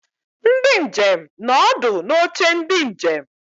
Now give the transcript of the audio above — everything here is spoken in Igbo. Ndi njem nọ ọdụ n'oche ndị njem.